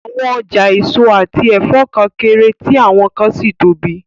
Àwọn ọjà èso àti ẹ̀fọ́ kan kéré, tí àwọn kan sì tóbi